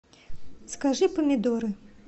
закажи помидоры